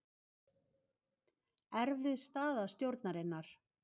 Erfið staða stjórnarinnar